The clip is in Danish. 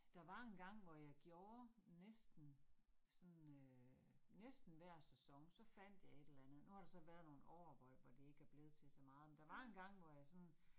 Der var engang, hvor jeg gjorde, næsten sådan øh næsten hver sæson, så fandt jeg et eller andet. Nu har der så været nogle år, hvor hvor det ikke er blevet til så meget, men der var engang, hvor jeg sådan